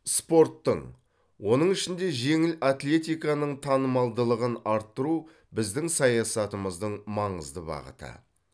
спорттың оның ішінде жеңіл атлетиканың танымалдылығын арттыру біздің саясатымыздың маңызды бағыты